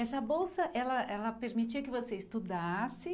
Essa bolsa, ela ela permitia que você estudasse.